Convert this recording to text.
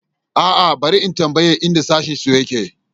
A'a, bari na tambayi inda sashensu yake.